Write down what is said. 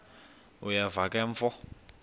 uyeva ke mfo